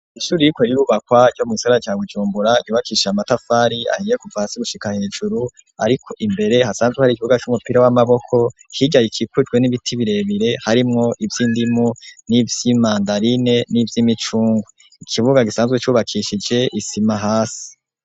Ishuri ririko rirubakwa co mu gisaka ca Bujumbura cubakishije amatafari ahiye kuva hasi gushika hejuru ariko imbere hasanzwe hari ikibuga c'umupira w'amaboko hirya hakikujwe n'ibiti birebire harimwo ivyindimu, n'ivyimandarine n'ivyimicungu, ikibuga gisanzwe cubakishije isima hasi.